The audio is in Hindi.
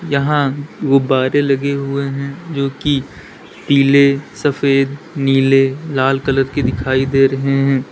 यहां गुब्बारे लगे हुए हैं जो कि पीले सफेद नीले लाल कलर की दिखाई दे रहे हैं।